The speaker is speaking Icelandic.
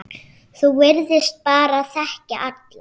Þú virtist bara þekkja alla.